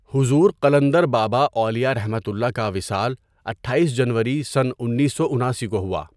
حضور قلندر بابا اولیاءؒ کا وصال اٹھاٮٔیس جنوری؁ اُنیسو اُناسی کو ہوا.